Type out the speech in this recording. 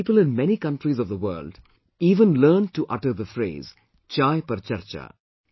People in many countries of the world even learnt to utter the phrase 'Chai Par Charcha'